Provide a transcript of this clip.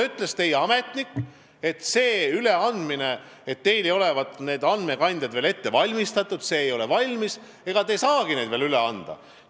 Teie ametnik ütles minule, et teil ei olevat andmekandjad ette valmistatud ja te ei saa neid veel üle anda.